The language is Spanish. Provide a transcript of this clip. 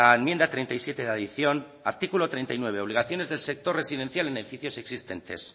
enmienda treinta y siete de adición artículo treinta y nueve obligaciones del sector residencial en edificios existentes